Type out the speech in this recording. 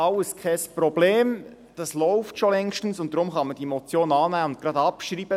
«Alles kein Problem, das läuft schon längstens, und deshalb kann man die Motion annehmen und gleich abschreiben.